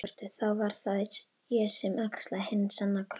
Þá verð það ég sem axla hinn sanna kross.